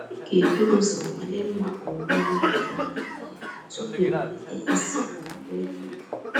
Ịga eburu uzọ nwalee mma owuwe ihe ubi gị n'ahịhịa efu tupu ịmalite isi owuwe ihe ubi.